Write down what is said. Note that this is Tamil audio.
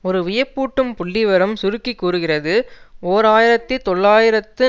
ஒரு வியப்பூட்டும் புள்ளிவிவரம் சுருக்கி கூறுகிறது ஓர் ஆயிரத்தி தொள்ளாயிரத்து